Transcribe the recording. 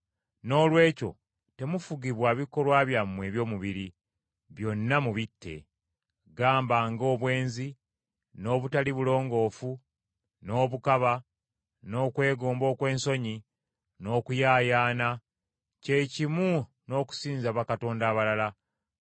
Noolwekyo temufugibwa bikolwa byammwe eby’omubiri, byonna mubitte. Gamba nga: obwenzi, n’obutali bulongoofu, n’obukaba, n’okwegomba okw’ensonyi, n’okuyaayaana; kye kimu n’okusinza bakatonda abalala.